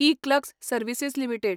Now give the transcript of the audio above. eClerx Services limited